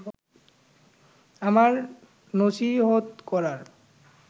আমার নছিহত করার